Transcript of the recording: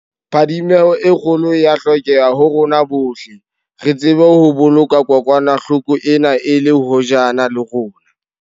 Phadimeho e kgolo e a hlokeha ho rona bohle, re tsebe ho boloka kokwanahlo ko ena e le hojana le rona.